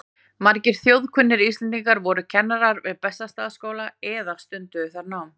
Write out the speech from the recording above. Margir þjóðkunnir Íslendingar voru kennarar við Bessastaðaskóla eða stunduðu þar nám.